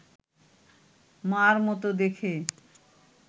মার মতো দেখে